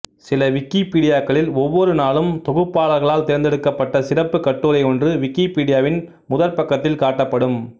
சில விக்கிப்பீடியாக்களில் ஒவ்வொரு நாளும் தொகுப்பாளர்களால் தேர்ந்தெடுக்கப்பட்ட சிறப்புக் கட்டுரையொன்று விக்கிப்பீடியாவின் முதற்பக்கத்தில் காட்டப்படும்